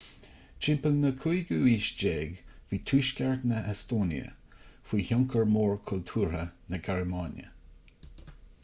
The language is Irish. timpeall na 15ú haoise bhí tuaisceart na heastóine faoi thionchar mór cultúrtha na gearmáine